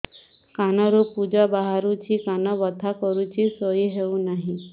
କାନ ରୁ ପୂଜ ବାହାରୁଛି କାନ ବଥା କରୁଛି ଶୋଇ ହେଉନାହିଁ